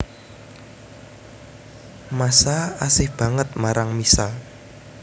Masha asih banget marang Misha